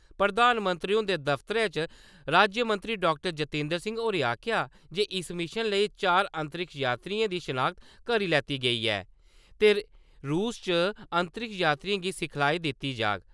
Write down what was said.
प्रधानमंत्री हुंदे दफ्तरै च राज्यमंत्री डाक्टर जतिंदर सिंह होरें आखेआ जे इस मिशन लेई चार अंतरिक्ष यात्रिएं दी शिनाख्त करी लैती गेदी ऐ ते रूस च अंतरिक्ष यात्रिएं गी सिखलाई दित्ती जाह्ग।